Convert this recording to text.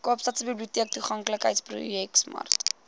kaapstadse biblioteektoeganklikheidsprojek smart